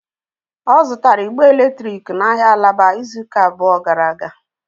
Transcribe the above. Ọ zụtara ịgbe eletrik n'ahịa alaba izu ụka abụọ gara aga.